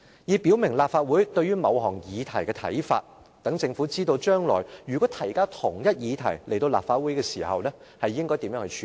"，以表明立法會對於某項議題的看法，讓政府知道將來如果提交相同議題到立法會時應如何處理。